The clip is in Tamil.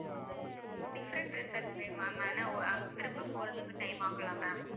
different resorts வேணும் ma'am ஆனா ஒ~ அங்க திரும்ப போறதுக்கு time ஆகும்ல்ல ma'am